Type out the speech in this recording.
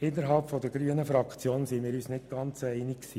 Innerhalb der grünen Fraktion sind wir uns nicht ganz einig.